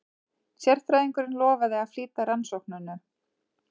Sérfræðingurinn lofaði að flýta rannsóknunum.